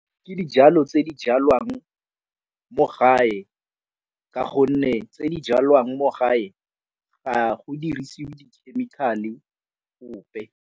Ke dijalo tse di jalwang mo gae ka gonne tse di jalwang mo gae ga go dirisiwe di-chemical-e gope.